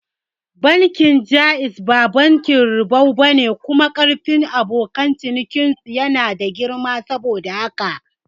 Bankin Jaiz ba bankin ribau bane kuma karfin abokan cinikin su yana da girma saboda haka